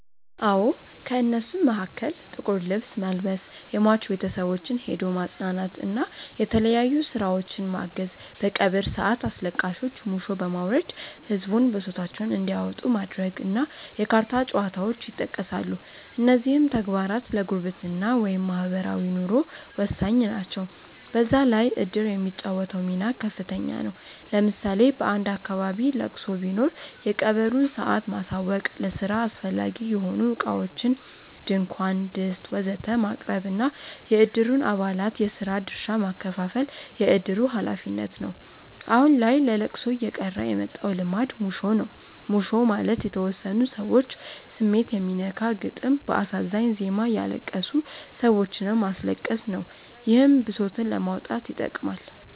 አዎ። ከእነሱም መሀከል ጥቁር ልብስ መልበስ፣ የሟች ቤተሰቦችን ሄዶ ማፅናናት እና የተለያዩ ስራዎችን ማገዝ፣ በቀብር ሰአት አስለቃሾች ሙሾ በማውረድ ህዝቡን ብሶታቸውን እንዲያወጡ ማድረግ እና የካርታ ጨዋታዎች ይጠቀሳሉ። እነዚህም ተግባራት ለጉርብትና (ማህበራዊ ኑሮ) ወሳኝ ናቸው። በዛ ላይ እድር የሚጫወተው ሚና ከፍተኛ ነው። ለምሳሌ በአንድ አካባቢ ለቅሶ ቢኖር የቀብሩን ሰአት ማሳወቅ፣ ለስራ አስፈላጊ የሆኑ እቃዎችን (ድንኳን፣ ድስት ወዘተ...) ማቅረብ እና የእድሩን አባላት የስራ ድርሻ ማከፋፈል የእድሩ ሀላፊነት ነው። አሁን ላይ ለለቅሶ እየቀረ የመጣው ልማድ ሙሾ ነው። ሙሾ ማለት የተወሰኑ ሰዎች ስሜት የሚነካ ግጥም በአሳዛኝ ዜማ እያለቀሱ ሰዎችንም ማስለቀስ ነው። ይህም ብሶትን ለማውጣት ይጠቅማል።